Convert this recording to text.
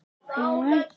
Þýtur í laufi